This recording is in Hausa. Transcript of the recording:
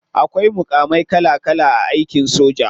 Akwai mukamai kala kala a aikin soja.